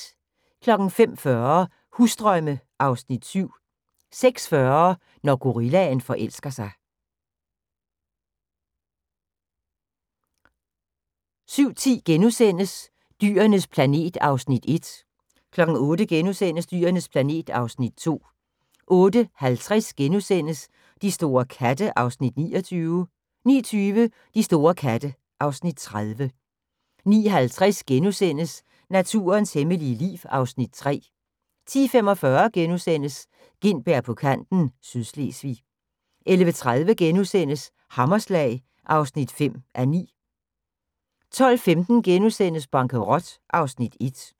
05:40: Husdrømme (Afs. 7) 06:40: Når gorillaen forelsker sig 07:10: Dyrenes planet (Afs. 1)* 08:00: Dyrenes planet (Afs. 2)* 08:50: De store katte (Afs. 29)* 09:20: De store katte (Afs. 30) 09:50: Naturens hemmelige liv (Afs. 3)* 10:45: Gintberg på kanten - Sydslesvig * 11:30: Hammerslag (5:9)* 12:15: Bankerot (Afs. 1)*